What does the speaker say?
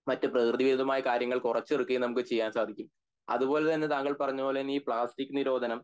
മറ്റു പ്രകൃതി വിരുദ്ധമായ കാര്യങ്ങൾ കുറച്ച എടുക്കയും സാധിക്കും അതുപോലെ തന്നെ താങ്കൾ പറഞ്ഞപോലെ തന്നെ പ്ലാസ്റ്റിക് നിരോധനം